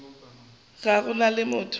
ga go na le motho